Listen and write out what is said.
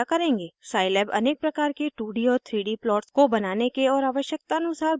Scilab अनेक प्रकार के 2d और 3d प्लॉट्स को बनाने के और आवश्यकतानुसार बदलाव करने के भिन्न तरीके देता है